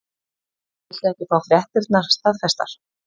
Viltu ekki fá fréttirnar staðfestar?